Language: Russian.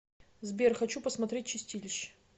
сбер хочу посмотреть чистилище